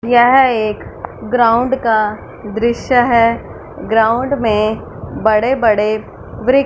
यह एक ग्राउंड का दृश्य है ग्राउंड में बड़े बड़े वृ--